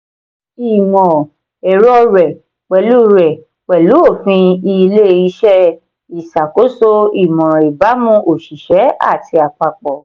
ìmọ̀-ẹ̀rọ rẹ̀ pẹ̀lú rẹ̀ pẹ̀lú òfin ilé-iṣẹ́ ìṣàkóso ìmọ̀ràn ìbámu òṣìṣẹ́ àti àpapọ̀